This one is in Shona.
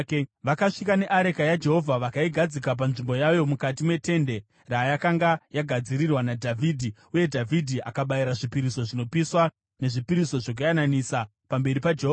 Vakasvika neareka yaJehovha vakaigadzika panzvimbo yayo mukati metende rayakanga yagadzirirwa naDhavhidhi, uye Dhavhidhi akabayira zvipiriso zvinopiswa nezvipiriso zvokuyananisa pamberi paJehovha.